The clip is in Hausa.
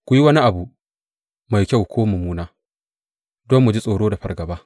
Ku yi wani abu, mai kyau ko mummuna, don mu ji tsoro da fargaba.